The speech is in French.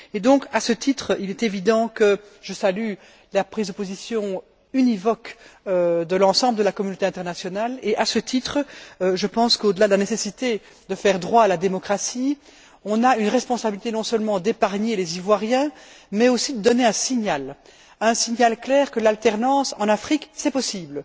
Et donc, à ce titre, il est évident, que je salue la prise de position univoque de l'ensemble de la communauté internationale et je pense qu'au delà de la nécessité de faire droit à la démocratie, on a une responsabilité non seulement d'épargner les Ivoiriens mais aussi de donner un signal, un signal clair que l'alternance en Afrique est possible.